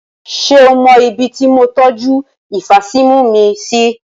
Ṣé o mọ ibí tí mo tọju ifasímu mi sí?